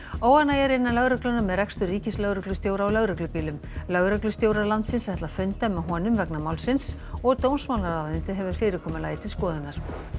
óánægja er innan lögreglunnar með rekstur ríkislögreglustjóra á lögreglubílum lögreglustjórar landsins ætla að funda með honum vegna málsins og dómsmálaráðuneytið hefur fyrirkomulagið til skoðunar